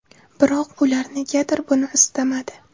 Biroq ular negadir buni istamadi.